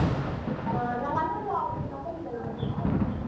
ಹ ನಮ್ಮ ಅಣ್ಣದು number ಇಲ್ವಾ ನಿನತ್ರ?